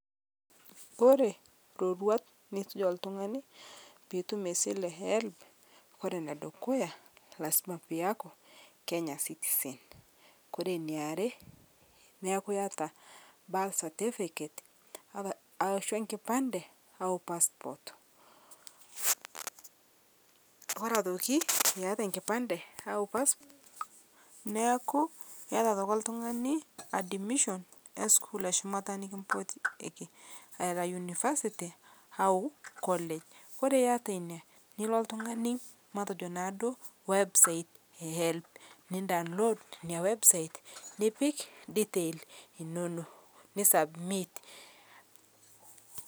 Kore roruat nisuj entung'ani piitum sile ee helb kore nedukuya lazima piiyaku Kenya citizen kore neare naaku iata birth certificate aashu nkipandee enkipandee au passport kore otokii iata nkipandee au pass neakuu iata otoki ltung'anii admision asukuul eshumataa nikimpotieki aa era university au college kore iata inia niloo ltung'anii matejo naa duo website ee helb nin download inia website nipik detail inonoo ni submit.